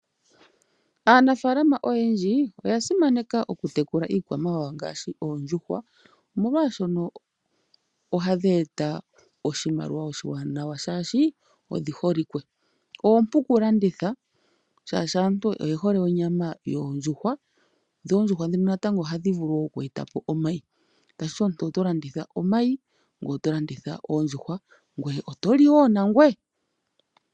Aanafalama oyendji oya simaneka oku tekula iikwamawawa ngaashi oondjuhwa, molwaashono ohadhi eta oshimaliwa oshiwanawa shaashi odhiholikwe. Oompu oku landitha shaashi aantu oye hole onyama yondjuhwa, dho oondjuhwa ndhino natango ohadhi vulu oku eta po omayi, tashiti omuntu oto landitha oondjuhwa, omayi ngoye oto li wo nangoye.